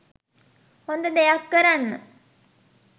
හොඳ දෙයක් කරන්න.